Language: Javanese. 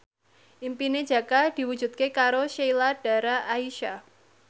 impine Jaka diwujudke karo Sheila Dara Aisha